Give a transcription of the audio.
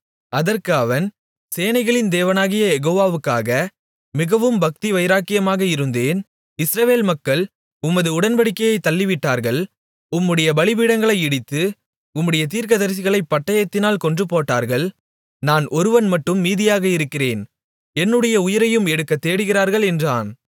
அதற்கு அவன் சேனைகளின் தேவனாகிய யெகோவாக்காக மிகவும் பக்திவைராக்கியமாக இருந்தேன் இஸ்ரவேல் மக்கள் உமது உடன்படிக்கையைத் தள்ளிவிட்டார்கள் உம்முடைய பலிபீடங்களை இடித்து உம்முடைய தீர்க்கதரிசிகளைப் பட்டயத்தினால் கொன்றுபோட்டார்கள் நான் ஒருவன் மட்டும் மீதியாக இருக்கிறேன் என்னுடைய உயிரையும் எடுக்கத் தேடுகிறார்கள் என்றான்